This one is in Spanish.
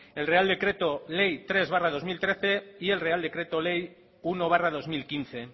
el real decreto ley tres barra dos mil trece y el real decreto ley uno barra dos mil quince